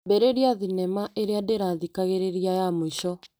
Ambĩrĩria thinema ĩrĩa ndĩrathikagĩrĩria ya mũico .